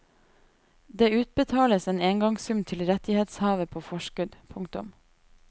Det utbetales en engangssum til rettighetshaver på forskudd. punktum